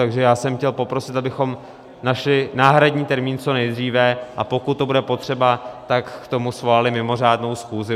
Takže já jsem chtěl poprosit, abychom našli náhradní termín co nejdříve, a pokud to bude potřeba, tak k tomu svolali mimořádnou schůzi.